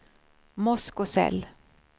Moskosel